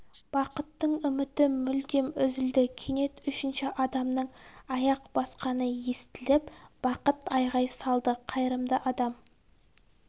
бақыттың үміті мүлдем үзілді кенет үшінші адамның аяқ басқаны естіліп бақыт айғай салды қайырымды адам